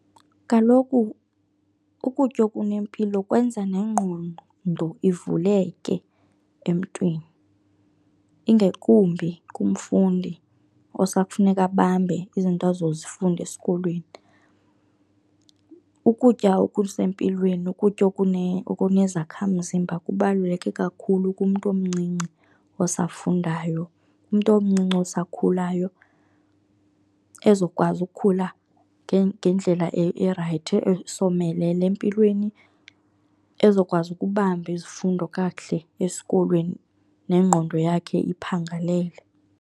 Kaloku ukutya okunempilo kwenza nengqondo ivuleke emntwini, ingakumbi kumfundi okusafuneka abambe izinto azozifunda esikolweni. Ukutya okusempilweni, ukutya okunezakhamzimba kubaluleke kakhulu kumntu omncinci osafundayo, umntu omncinci osakhulayo, ezokwazi ukukhula ngendlela erayithi esomelele empilweni, ezokwazi ukubamba izifundo kakuhle esikolweni nengqondo yakhe iphangalele.